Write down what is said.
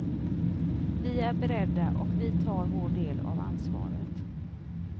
Vi är beredda och vi tar vår del av ansvaret.